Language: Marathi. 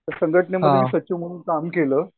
त्या संघटनेमध्ये सचिव म्हणून काम केलं.